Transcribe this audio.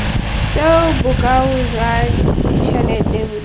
tseo bokao jwa ditšhelete bo